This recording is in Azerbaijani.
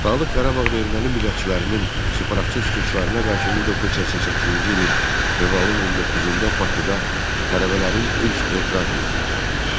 Dağlıq Qarabağda erməni millətçilərinin separatçı çıxışlarına qarşı 1988-ci ilin fevralın 19-da Bakıda tələbələrin ilk etiraz mitinqi oldu.